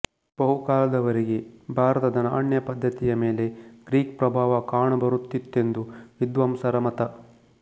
ಬಹುಕಾಲದವರೆಗೆ ಭಾರತದ ನಾಣ್ಯ ಪದ್ಧತಿಯ ಮೇಲೆ ಗ್ರೀಕ್ ಪ್ರಭಾವ ಕಾಣಬರುತ್ತಿತ್ತೆಂದು ವಿದ್ವಾಂಸರ ಮತ